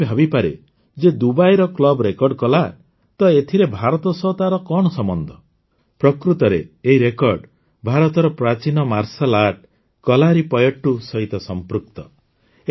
ଯେ କେହି ଭାବିପାରେ ଯେ ଦୁବାଇର କ୍ଲବ ରେକର୍ଡ କଲା ତ ଏଥିରେ ଭାରତ ସହ ତାର କଣ ସମ୍ବନ୍ଧ ପ୍ରକୃତରେ ଏହି ରେକର୍ଡ ଭାରତର ପ୍ରାଚୀନ ମାର୍ଶାଲ୍ ଆର୍ଟ କଲାରିପୟଟ୍ଟୁ ସହିତ ସମ୍ପୃକ୍ତ